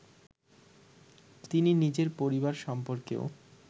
তিনি নিজের পরিবার সম্পর্কেও